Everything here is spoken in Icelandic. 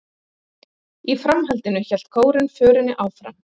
Í framhaldinu hélt kórinn förinni áfram